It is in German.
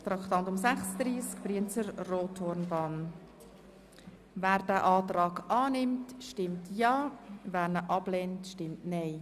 Wer den Antrag annimmt stimmt Ja, wer diesen ablehnt, stimmt Nein.